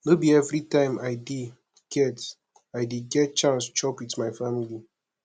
no be everytime i dey get i dey get chance chop wit my family